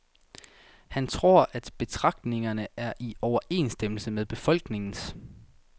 Han tror, at betragtningerne er i overensstemmelse med befolkningens.